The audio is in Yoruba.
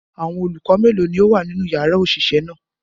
Awọn olukọ melo ni o wa ninu yara oṣiṣẹ naa?